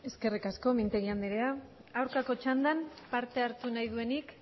eskerrik asko mintegi anderea aurkako txandan parte hartu duenik